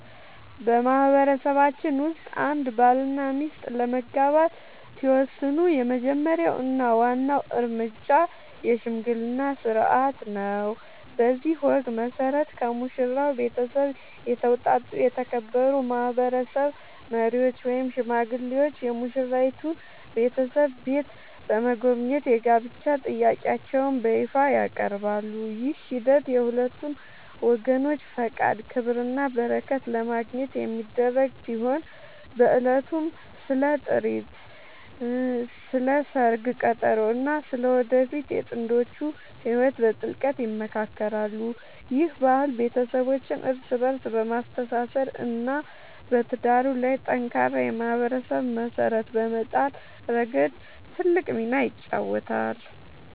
በማህበረሰባችን ውስጥ አንድ ባልና ሚስት ለመጋባት ሲወስኑ የመጀመሪያው እና ዋናው እርምጃ **የሽምግልና ሥርዓት** ነው። በዚህ ወግ መሠረት፣ ከሙሽራው ቤተሰብ የተውጣጡ የተከበሩ ማህበረሰብ መሪዎች ወይም ሽማግሌዎች የሙሽራይቱን ቤተሰብ ቤት በመጎብኘት የጋብቻ ጥያቄያቸውን በይፋ ያቀርባሉ። ይህ ሂደት የሁለቱን ወገኖች ፈቃድ፣ ክብርና በረከት ለማግኘት የሚደረግ ሲሆን፣ በዕለቱም ስለ ጥሪት፣ ስለ ሰርግ ቀጠሮ እና ስለ ወደፊቱ የጥንዶቹ ህይወት በጥልቀት ይመካከራሉ። ይህ ባህል ቤተሰቦችን እርስ በእርስ በማስተሳሰር እና በትዳሩ ላይ ጠንካራ የማህበረሰብ መሰረት በመጣል ረገድ ትልቅ ሚና ይጫወታል።